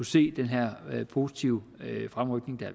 se den her positive fremrykning der